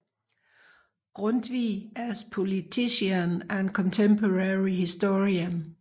Grundtvig as Politician and Contemporary Historian